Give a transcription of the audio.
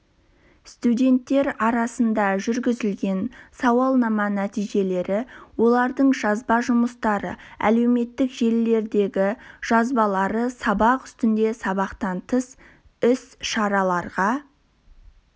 студенттер арасында жүргізілген сауалнама нәтижелері олардың жазба жұмыстары әлеуметтік желілердегі жазбалары сабақ үстінде сабақтан тыс іс-шараларға